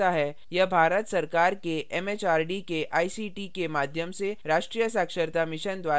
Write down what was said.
यह भारत सरकार के एमएचआरडी के आईसीटी के माध्यम से राष्ट्रीय साक्षरता mission द्वारा समर्थित है